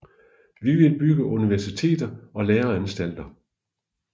Vi vil bygge universiteter og læreanstalter